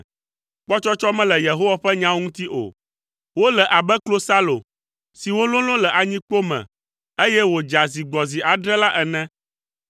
Kpɔtsɔtsɔ mele Yehowa ƒe nyawo ŋuti o, wole abe klosalo si wololo le anyikpo me, eye wòdza zi gbɔ zi adre la ene.